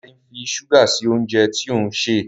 Dare ń fí ṣuga sí oúnjẹ tí òun ṣe